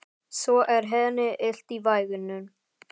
Svo er henni illt í vængnum.